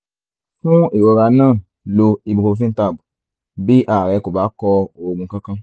fún ìrora náà lo ibuprofen tab bí ara rẹ kò bá kọ oògùn kankan